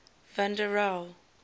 van der rohe